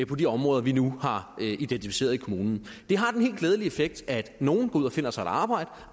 på de områder vi nu har identificeret i kommunen det har den helt glædelige effekt at nogle går ud og finder sig et arbejde